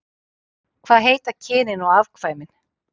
Hvað heita kynin og afkvæmin?